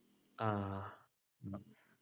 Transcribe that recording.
ആഹ്